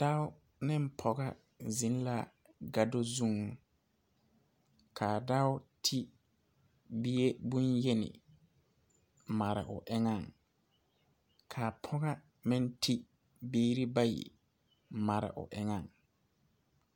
Dao neŋ pɔga zeŋ la gado zuŋ kaa dao te bie bonyeni mare o eŋɛŋ kaa pɔga meŋ two biire bayi mare o eŋɛŋ.